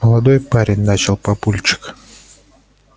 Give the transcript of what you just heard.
молодой парень начал папульчик